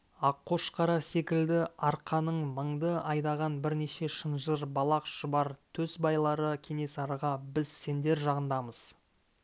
аққошқары секілді арқаның мыңды айдаған бірнеше шынжыр балақ шұбар төс байлары кенесарыға біз сендер жағындамыз